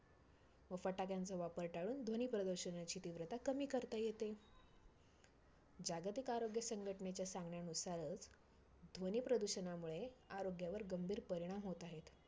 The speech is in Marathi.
व फटाक्यांचा वापर टाळून ध्वनी प्रदूषणाची तीव्रता कमी करता येते. जागतिक आरोग्य संघटनेच्या सांगण्यानुसारच, ध्वनी प्रदूषणामुळे आरोग्यावर गंभीर परिणाम होत आहेत.